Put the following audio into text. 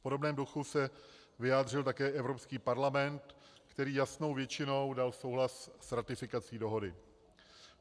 V podobném duchu se vyjádřil také Evropský parlament, který jasnou většinou dal souhlas s ratifikací dohody.